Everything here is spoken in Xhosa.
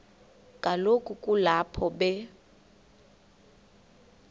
kaloku kulapho be